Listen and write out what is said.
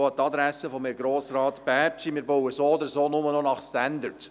An die Adresse von Grossrat Bärtschi: Wir bauen so oder so nur noch nach Standard.